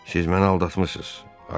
Siz məni aldatmısınız.